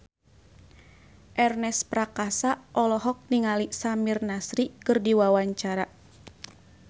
Ernest Prakasa olohok ningali Samir Nasri keur diwawancara